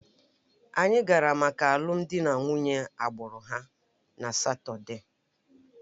Anyị gara maka alụmdi na nwunye agbụrụ ha na Satọde